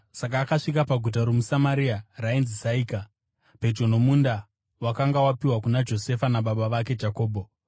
Saka akasvika paguta romuSamaria rainzi Saika, pedyo nomunda wakanga wapiwa kuna Josefa nababa vake Jakobho.